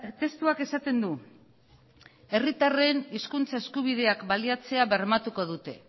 testuak esaten du herritarren hizkuntza eskubideak baliatzea bermatuko dute